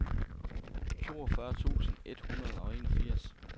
toogfyrre tusind et hundrede og enogfirs